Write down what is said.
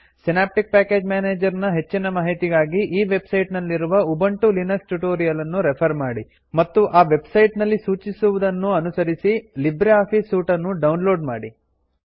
synoptic package manager ನ ಹೆಚ್ಚಿನ ಮಾಹಿತಿಗಾಗಿ ಈ ವೆಬ್ ಸೈಟ್ ನಲ್ಲಿರುವ ಉಬುಂಟು ಲಿನಕ್ಸ್ ಟ್ಯುಟೋರಿಯಲ್ ನ್ನು ರೆಫರ್ ಮಾಡಿ ಮತ್ತು ಆ ವೆಬ್ ಸೈಟ್ ನಲ್ಲಿ ಸೂಚಿಸುವುದನ್ನು ಅನುಸರಿಸಿ ಲಿಬ್ರೆ ಆಫೀಸ್ ಸೂಟ್ ನ್ನು ಡೌನ್ ಲೋಡ್ ಮಾಡಿ